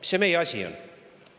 Mis see meie asi on?